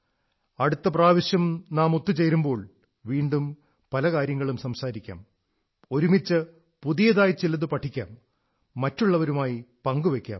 അടുത്ത പ്രാവശ്യം നാം ഒത്തു ചേരുമ്പോൾ വീണ്ടും പല കാര്യങ്ങളും സംസാരിക്കാം ഒരുമിച്ച് പുതിയതായി ചിലതു പഠിക്കാം മറ്റുള്ളവരുമായി പങ്കുവയ്ക്കാം